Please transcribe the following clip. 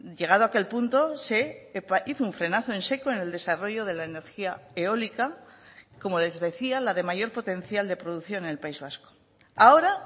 llegado a aquel punto se hizo un frenazo en seco en el desarrollo de la energía eólica como les decía la de mayor potencial de producción en el país vasco ahora